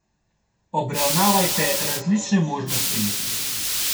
Obravnavajte različne možnosti.